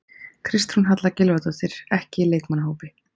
Kristrún Halla Gylfadóttir, ekki í leikmannahópi